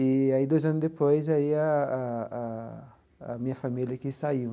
E aí, dois anos depois, e aí a a a minha família que saiu.